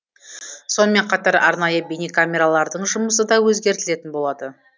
сонымен қатар арнайы бейнекамералардың жұмысы да өзгертілетін болады